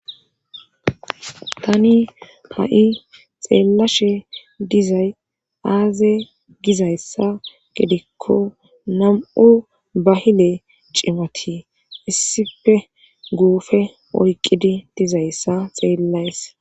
Tani ha7i xeellashe dizay aaze gizayssa gedikko nam7u bahile cimati issife guufe oyqqidi dizayssa xeellays.